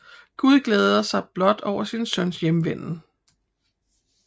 Gud glæder sig blot over sin søns hjemvenden